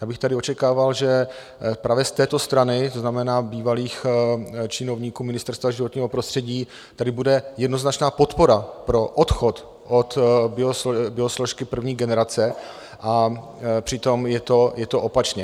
Já bych tady očekával, že právě z této strany, to znamená bývalých činovníků Ministerstva životního prostředí, tady bude jednoznačná podpora pro odchod od biosložky první generace, a přitom je to opačně.